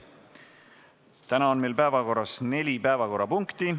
Täna on meil päevakorras neli punkti.